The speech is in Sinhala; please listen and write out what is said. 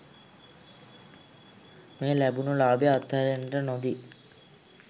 මේ ලැබුණ ලාභය අත්හැරෙන්නට නොදී